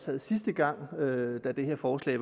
havde sidste gang da det her forslag